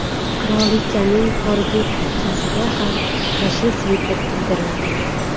Qirolichaning korgi kuchukchasiga ham yashil sviter kiydirildi.